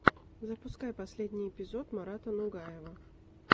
запускай последний эпизод марата нугаева